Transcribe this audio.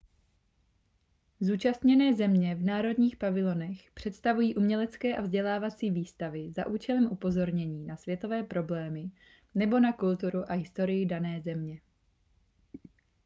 zúčastněné země v národních pavilonech představují umělecké a vzdělávací výstavy za účelem upozornění na světové problémy nebo na kulturu a historii dané země